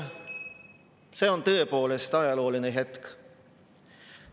See on tõepoolest ajalooline hetk.